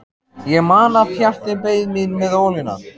Ég man að Pjatti beið mín með ólina.